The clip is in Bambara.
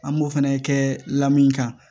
An b'o fɛnɛ kɛ lamini kan